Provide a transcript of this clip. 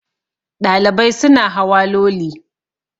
Ɗalibai suna hawa Loli